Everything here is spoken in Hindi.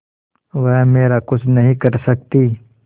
वह मेरा कुछ नहीं कर सकती